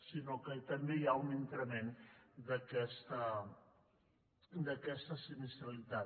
sinó que també hi ha un increment d’aquesta sinistralitat